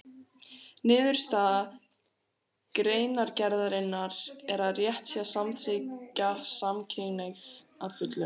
Niðurstaða greinargerðarinnar er að rétt sé að samþykkja samkynhneigð að fullu.